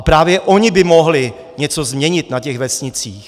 A právě oni by mohli něco změnit na těch vesnicích.